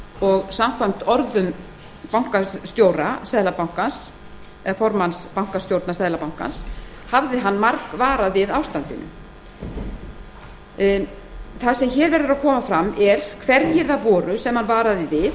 og samkvæmt orðum formanns bankastjórnar seðlabankans hafði hann margvarað við ástandinu það sem hér verður að koma fram er hverjir það voru sem hann varaði við